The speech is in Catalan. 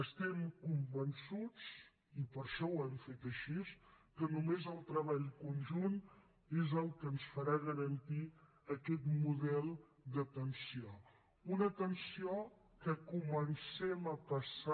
estem convençuts i per això ho hem fet així que només el treball conjunt és el que ens farà garantir aquest model d’atenció una atenció en què comencem a passar